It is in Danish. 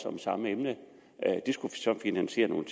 om samme emne det skulle så finansiere nogle